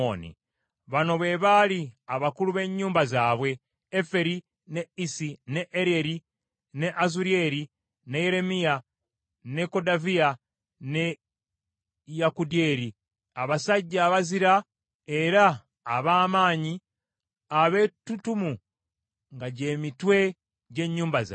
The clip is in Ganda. Bano be baali abakulu b’ennyumba zaabwe: Eferi, ne Isi, ne Eryeri, ne Azulyeri, ne Yeremiya, ne Kodaviya, ne Yakudyeri, abasajja abazira era ab’amaanyi, abettutumu, nga gy’emitwe gy’ennyumba zaabwe.